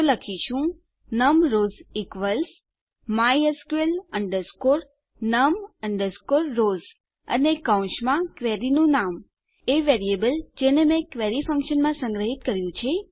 તો આપણે લખીશું num rows equals mysql num rows અને કૌંસમાં ક્વેરીનું નામ એ વેરીએબલ જેને મેં ક્વેરી ફંક્શનમાં સંગ્રહિત કર્યું છે